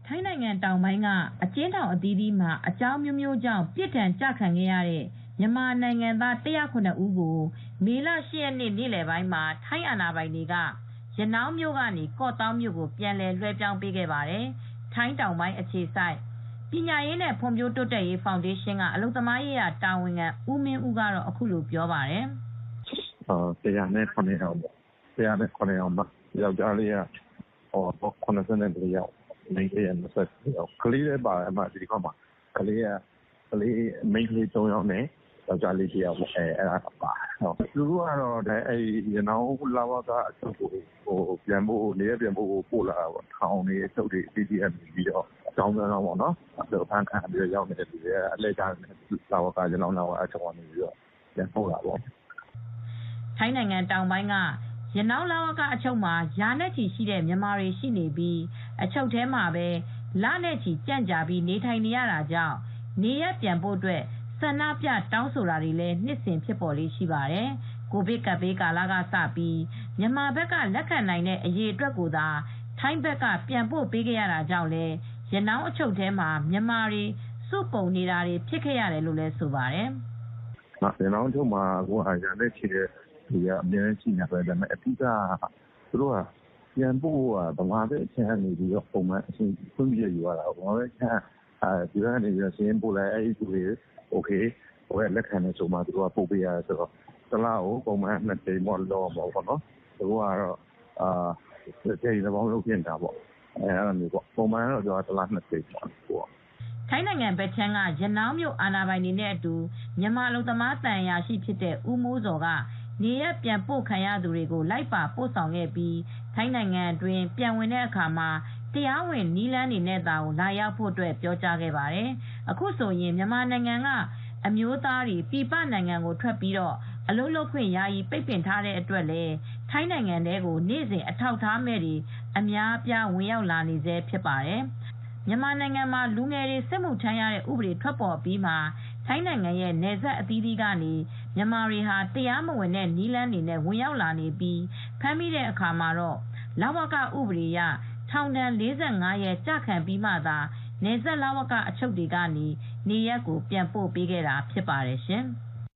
ထိုင်းနိုင်ငံတောင်ပိုင်းက အကျဉ်းထောင်အသီးသီးမှာ အကြောင်းအမျိုးမျိုးကြောင့် ပြစ်ဒဏ်ကျခံရတဲ့မြန်မာနိုင်ငံသား ၁၀၇ ဦးကို မေလ ၈ ရက်နေ့ နေလည်ပိုင်းမှာ ထိုင်းအာဏာပိုင်တွေက ရနောင်းမြို့ကနေ ကော့သောင်းမြို့ကို ပြန်လွှဲပြောင်းပေးခဲ့ပါတယ်။ ထိုင်းတောင်ပိုင်းအခြေစိုက် ပညာရေးနဲ့ဖွံ့ဖြိုးတိုးတက်ရေးဖောင်ဒေးရှင်းကအလုပ်သမားရေးရာတာဝန်ခံ ဦးမင်းဦးက အခုလိုပြောပါတယ်။ "၁၀၇ ယောက်ပေါ့။ ၁၀၇ ယောက်မှာ ယောက်ကျားလေးက ၇၄ ယောက်၊ မိန်းကလေးက ၂၉ ယောက်၊ ကလေးလည်းပါတယ်။ မိန်းကလေးက ၃ ယောက်နဲ့ ယောက်ကျားလေး ၂ ယောက်ပါတယ်။" သူတို့က ရနောင်းလ၀ကအချုပ်ကို နေရပ်ပြန်ပို့ဖို့အတွက် ပို့လာတာပါ။ ထောင်၊ အချုပ်တွေကနေ အကြောင်းအမျိုးမျိုးနဲ့ရောက်လာကြတဲ့သူတွေပါ။ ရနောင်းလ၀ကကနေ ပြန်ပို့လာတာပါ။" ထိုင်းနိုင်ငံတောင်ပိုင်းက ရနောင်းလ၀ကအချုပ်မှာ ရာနဲ့ချီရှိတဲ့မြန်မာတွေရှိနေပြီး အချုပ်ထဲမှာပဲ လနဲ့ချီကြန့်ကြာပြီး နေထိုင်နေရတာကြောင့် နေရပ်ပြန်ဖို့ ဆန္ဒပြတောင်းဆိုတာတွေလည်း နှစ်စဉ်ဖြစ်ပေါ်လေ့ရှိပါတယ်။ ကိုဗစ်ကပ်ဘေးကာလကစပြီး မြန်မာဘက်က လက်ခံနိုင်တဲ့အရေအတွက်ကိုသာ ထိုင်းဘက်ကပြန်ပို့ရတာကြောင့်လည်း ရနောင်းအချုပ်ထဲမှာ မြန်မာတွေ စုပုံနေတာဖြစ်တယ်လို့လည်းဆိုပါတယ်။ "ရနောင်းလ၀ကမှာက ရာနဲ့ချီရှိတဲ့သူတွေကအမြဲရှိနေတာပါ။ ပြန်ပို့တဲ့အခါမှာ မြန်မာဘက်ကနေ ခွင့်ပြုချက်ယူပြီးမှပို့ရတာပါ။ မြန်မာဘက်ကလည်းစာရင်းယူပြီး လက်ခံမှ အိုကေတယ်ဆိုမှ ပို့ရတာပါ။ မြန်မာဘက်ကလက်ခံမှ ပို့ပေးရတယ်။ ပုံမှန်ကတော့ တလကို ၂ ကြိမ်ပို့ရတယ်။ အခုကတော့ တလတကြိမ်လောက်ပဲပို့ရတယ်။ ပုံမှန်ကတော့ တလနှစ်ံကြိမ်လောက်ပို့ရတာပါ။" ထိုင်းနိုင်ငံဘက်ခြမ်းက ရနောင်းမြို့အာဏာပိုင်တွေနဲ့အတူ မြန်မာအလုပ်သမားသံအရာရှိဖြစ်တဲ့ ဦးမိုးဇော်က နေရပ်ပြန်ပို့ခံရသူတွေကို လိုက်ပါပို့ဆောင်ခဲ့ပြီး ထိုင်းနိုင်ငံအတွင်း ပြန်ဝင်တဲ့အခါမှာ တရားဝင်နည်းလမ်းနဲ့သာ လာရောက်ဖို့ ပြောကြားခဲ့ပါတယ်။ အခုဆိုရင်မြန်မာနိုင်ငံကအမျိုးသားတွေ ပြည်ပနိုင်ငံမှာအလုပ်သွားရောက် လုပ်ခွင့် ယာယီပိတ်ပင်ထားတဲ့အတွက်လည်း ထိုင်းနိုင်ငံထဲကို နေ့စဉ်အထောက်အထားမဲ့တွေအများအပြား ဝင်ရောက်လာနေဆဲဖြစ်ပါတယ်။ မြန်မာနိင်ငံမှာ လူငယ်တွေစစ်မှုထမ်းရတဲ့ဥပဒေထွက်အပြီးမှာ ထိုင်းနိုင်ငံရဲ့နယ်စပ် အသီးသီးကနေ မြန်မာလူငယ်တွေ တရားမဝင်တဲ့နည်းတွေနဲ့ဝင်ရောက်လာနေပြီး ဖမ်းမိတဲ့အခါမှာ လ၀ကဥပဒေအရ ထောင်ဒဏ် ၄၅ ရက်ကျခံပြီးမှ နယ်စပ်လ၀က အချုပ်တွေကတဆင့် နေရပ်ကိုပြန်ပို့ခဲ့တာဖြစ်ပါတယ်ရှင်။